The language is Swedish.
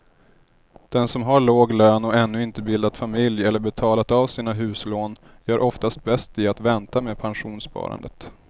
Den som har låg lön och ännu inte bildat familj eller betalat av sina huslån gör oftast bäst i att vänta med pensionssparandet.